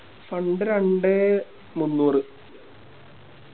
Fund രണ്ടേ മൂന്നൂർ